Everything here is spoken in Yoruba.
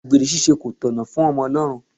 Àgbèrè ṣíṣe kò tọ̀nà f'Omolorun.